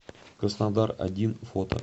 краснодар один фото